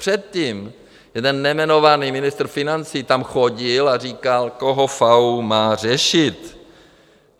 Předtím jeden nejmenovaný ministr financí tam chodil a říkal, koho FAÚ má řešit.